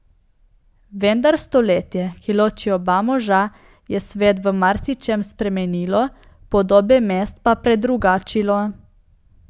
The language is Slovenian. Vendar stoletje, ki loči oba moža, je svet v marsičem spremenilo, podobe mest pa predrugačilo.